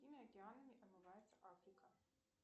какими океанами омывается африка